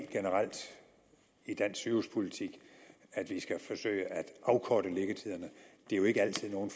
generelt i dansk sygehuspolitik at vi skal forsøge at afkorte liggetiderne det er jo ikke altid nogen